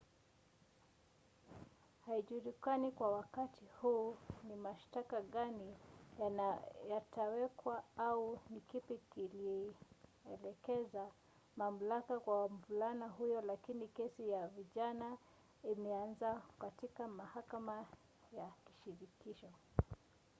haijulikani kwa wakati huu ni mashtaka gani yatawekwa au ni kipi kilielekeza mamlaka kwa mvulana huyo lakini kesi ya vijana imeanza katika mahakama ya shirikisho